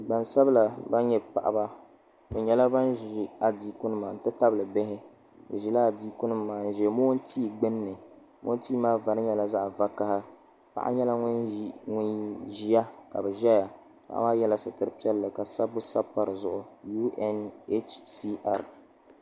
Gbaŋ sabila nani nyɛ paɣaba bi nyɛla ban zi adiiku nima n ti tabili bihi bi zila adiiku nima maa n zi mongu tia gbinni mongu tia maa vari nyɛla zaɣi vakaha paɣa nyɛla ŋuni ziya ka bi zaya paɣa maa ye la sitira piɛlli ka sabibu sabi pa di zuɣu UNHCR.